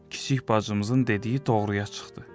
Kiçik bacımızın dediyi doğruya çıxdı.